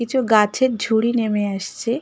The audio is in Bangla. কিছু গাছের ঝুড়ি নেমে আসছে।